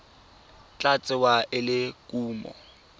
tla tsewa e le kumo